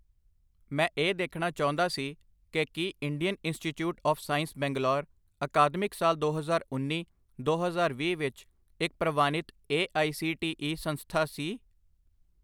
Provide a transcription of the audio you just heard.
ਮੈਂ ਇਹ ਦੇਖਣਾ ਚਾਹੁੰਦਾ ਸੀ ਕਿ ਕੀ Indian institute of science Bangalore academic ਸਾਲ ਦੋ ਹਜ਼ਾਰ ਉੰਨੀ ਦੋ ਹਜ਼ਾਰ ਵੀਹ ਵਿੱਚ ਇੱਕ ਪ੍ਰਵਾਨਿਤ A I C T E ਸੰਸਥਾ ਸੀ?